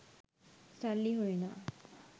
සල්ලි හොයනවා.